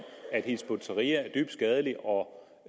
at hizb ut tahrir er dybt skadelig og